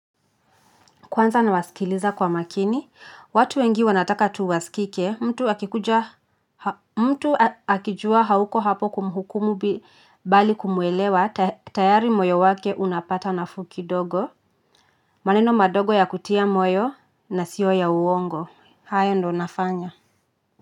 Kwanza nawaskiliza kwa makini. Watu wengi wanataka tu waskike mtu akikuja mtu akijua hauko hapo kumhukumu bali kumuelewa, tayari moyo wake unapata nafuu kidogo, maneno madogo ya kutia moyo na siyo ya uongo, haya ndo nafanya.